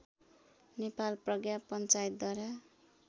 नेपाल प्रज्ञा पञ्चायतद्वारा